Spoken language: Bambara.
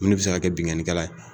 Mun de bɛ se ka kɛ binkanikɛlan ye.